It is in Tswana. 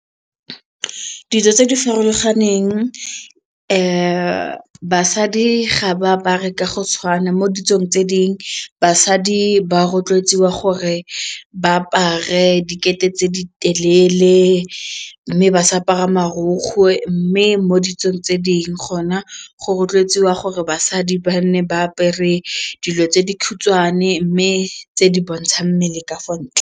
tse di farologaneng basadi ga ba apare ka go tshwana mo ditsong tse ding basadi ba rotloetsiwa gore ba apare dikete tse di telele mme ba sa apara marokgwe mme mo ditsong tse dingwe gona go rotloetswa gore basadi ba nne ba apere dilo tse di khutshwane mme tse di bontshang mmele ka fa ntle.